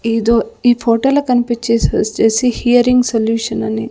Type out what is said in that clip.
ఏదో ఈ ఫోటోలో కన్పిచేసొచేసి హియరింగ్ సొల్యూషన్ అని--